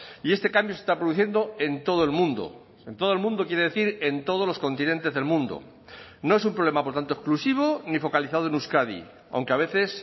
y este cambio se está produciendo en todo el mundo en todo el mundo quiere decir en todos los continentes del mundo no es un problema por tanto exclusivo ni focalizado en euskadi aunque a veces